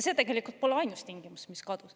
See tegelikult pole ainus tingimus, mis kadus.